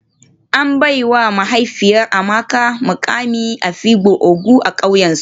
An baiwa mahaifin Amaka mukamin afikpo ogo a kauyensu